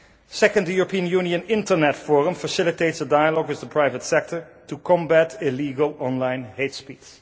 Second, the European Union Internet Forum facilitates a dialogue with the private sector to combat illegal online hate speech.